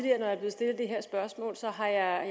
er